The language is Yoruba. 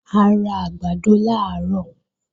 A ra àgbàdo làárọ̀